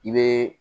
I bɛ